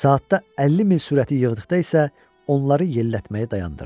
Saatda 50 mil sürəti yığdıqda isə onları yellətməyi dayandırdı.